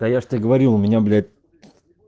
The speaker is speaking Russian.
да я же тебе говорил у меня блять